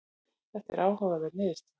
Þetta er áhugaverð niðurstaða.